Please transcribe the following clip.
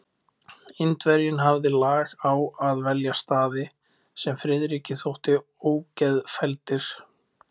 Indverjinn hafði lag á að velja staði, sem Friðriki þóttu ógeðfelldir.